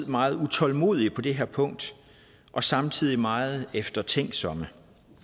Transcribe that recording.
meget utålmodige på det her punkt og samtidig meget eftertænksomme